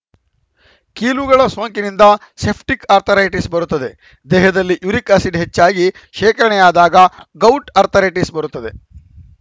ಕೀಲುಗಳ ಸೋಂಕಿನಿಂದ septic arthritis ಬರುತ್ತದೆ ದೇಹದಲ್ಲಿ ಯುರಿಕ್‌ ಆಸಿಡ್‌ ಹೆಚ್ಚಾಗಿ ಶೇಖರಣೆಯಾದಾಗ ಗೌಟ್‌ ಅರ್ಥರೈಟಿಸ್‌ ಬರುತ್ತದೆ